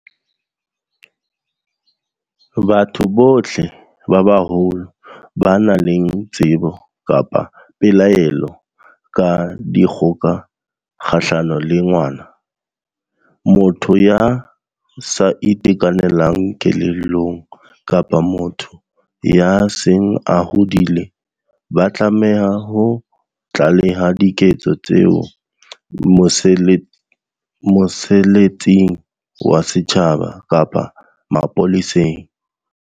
Batho bohle ba baholo ba na leng tsebo kapa pelaelo ka dikgoka kgahlano le ngwana, motho ya sa itekanelang kelellong kapa motho ya seng a hodile ba tlameha ho tlaleha diketso tseo moseleletsing wa setjhaba kapa mapoleseng.